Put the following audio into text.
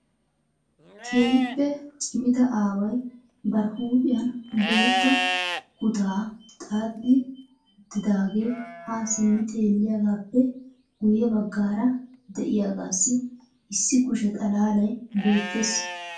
keehippe cimidda aaway bari huuphiyan bootta kuttaa xaaxxidi uttidaage ha simmi xeelliyaagappe guyye baggaara de'iyaagassi issi kushe xalaalay betteees .